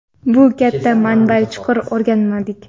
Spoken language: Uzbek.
bu katta manbani chuqur o‘rganmadik.